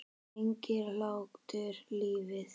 Lengir hlátur lífið?